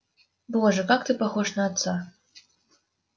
боже как ты похож на отца